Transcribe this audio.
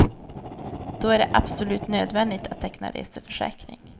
Då är det absolut nödvändigt att teckna reseförsäkring.